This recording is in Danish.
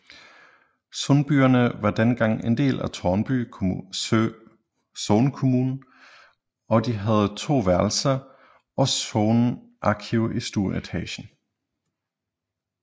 Sundbyerne var dengang en del af Tårnby Sognekommune og de havde to værelser og sognearkiv i stueetagen